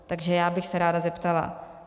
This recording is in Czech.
Takže já bych se ráda zeptala.